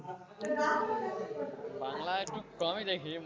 বাংলা একটু কমই দেখি।